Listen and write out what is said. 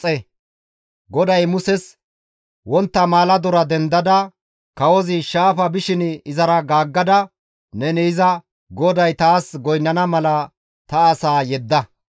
GODAY Muses, «Wontta maaladora dendada, kawozi shaafa bishin izara gaaggada neni iza, ‹GODAY taas goynnana mala ta asaa yedda;